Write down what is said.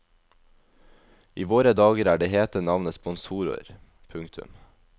I våre dager er det hete navnet sponsorer. punktum